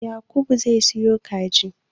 Yakubu zai siyo kaji